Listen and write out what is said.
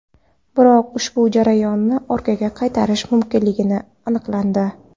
Biroq ushbu jarayonni orqaga qaytarish mumkinligi aniqlandi.